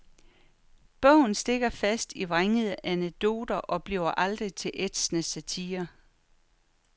Bogen stikker fast i vrængende anekdoter og bliver aldrig til ætsende satire.